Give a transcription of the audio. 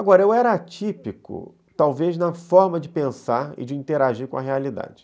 Agora, eu era atípico, talvez, na forma de pensar e de interagir com a realidade.